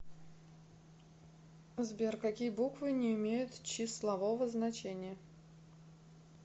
сбер какие буквы не имеют числового значения